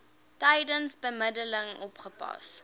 tydens bemiddeling opgelos